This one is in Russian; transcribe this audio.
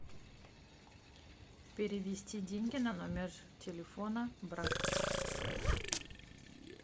перевести деньги на номер телефона брат